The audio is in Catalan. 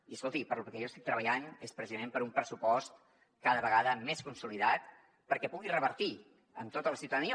i escolti pel que jo estic treballant és precisament per un pressupost cada vegada més consolidat perquè pugui revertir en tota la ciutadania